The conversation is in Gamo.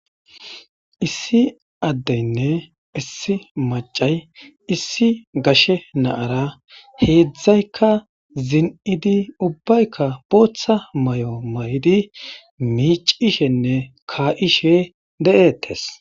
Issi adenne issi mac'ay issi gashe na'ara hezdayka zin'idi ubayika bota mayo mayidi mic'ishene ka'ishe de'etes.